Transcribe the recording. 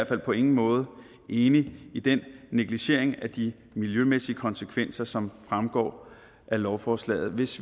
på ingen måde er enige i den negligering af de miljømæssige konsekvenser som fremgår af lovforslaget hvis